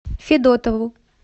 федотову